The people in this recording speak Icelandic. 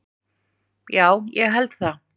Já, ég held það